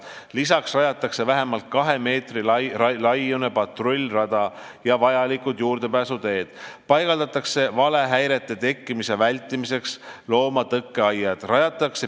Lisaks rajatakse vähemalt kahe meetri laiune patrullrada ja juurdepääsuteed, valehäirete tekkimise vältimiseks paigaldatakse loomatõkkeaiad.